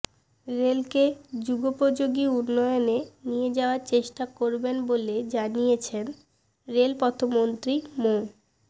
রেলকে যুগোপযোগী উন্নয়নে নিয়ে যাওয়ার চেষ্টা করবেন বলে জানিয়েছেন রেলপথমন্ত্রী মো